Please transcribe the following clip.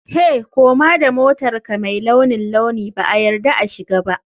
Hey! Koma da motarka mai launin launi ba a yarda a shiga ba.